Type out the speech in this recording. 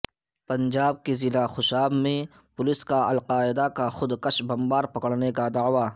پنجاب کے ضلع خوشاب میں پولیس کا القاعدہ کا خود کش بمبار پکڑنے کا دعوی